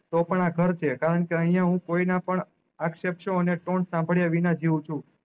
તો પણ આ ઘર છે કારણ કે અયીયા હું કોઈ ના પણ અક્ષ શેપ્તોએ ને ટોન શામ્બ્ડીયા વિના જીયું છું